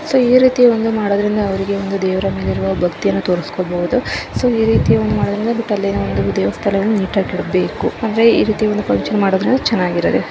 so ರೀತಿ ಒಂದು ಮಾಡೋದ್ರಿಂದ ಅವ್ರಿಗೆ ಒಂದು ದೇವರ ಮೇಲೆ ಒಂದು ಭಕ್ತಿಯನ್ನ ತೋರಿಸ್ಕೊಬಹುದು ಸೊ ಈ ರೀತಿ ದೇವಸ್ಥಾನವನ್ನು ನೀಟಾಗಿ ಇಡಬೇಕು ಅಂದ್ರೆ ಈ ರೀತಿ ಒಂದು ಫನ್ಕ್ಷನ್ ಮಾಡೋದ್ರಿಂದ ಚೆನಾಗಿರೋದೇ --